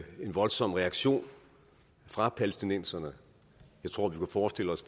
voldsom reaktion fra palæstinenserne jeg tror vi kunne forestille os